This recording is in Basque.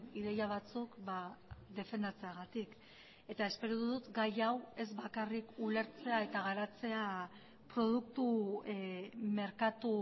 ideia batzuk defendatzeagatik eta espero dut gai hau ez bakarrik ulertzea eta garatzea produktu merkatu